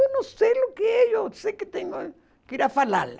Eu não sei o que é, eu sei que tenho que ir a falar lá.